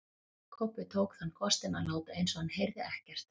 Kobbi tók þann kostinn að láta eins og hann heyrði ekkert.